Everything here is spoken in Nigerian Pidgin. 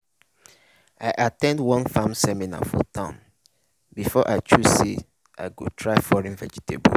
i at ten d one farming seminar for town before i choose say i go try foreign vegetables.